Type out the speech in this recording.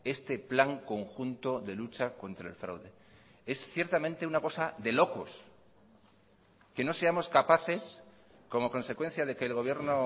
este plan conjunto de lucha contra el fraude es ciertamente una cosa de locos que no seamos capaces como consecuencia de que el gobierno